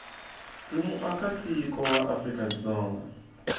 ri muakatiko wa afrika dzonga